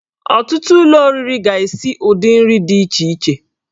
Ọtụtụ ụlọ oriri ga-esi ụdị nri dị iche iche